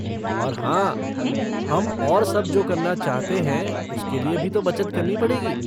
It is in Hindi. और हाँ, हम और सब जो करना चाहते हैं उसके लिये भी तो बचत करनी पड़ेगी।